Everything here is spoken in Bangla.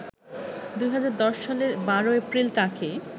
২০১০ সালের ১২ এপ্রিল তাকে